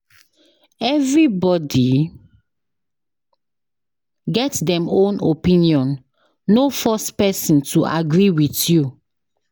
Everybody get dem own opinion, no force pesin to agree with you.